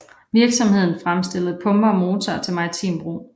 Virksomheden fremstillede pumper og motorer til maritim brug